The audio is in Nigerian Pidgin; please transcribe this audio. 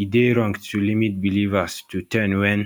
e dey wrong to limit believers to ten wen